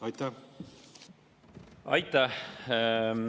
Aitäh!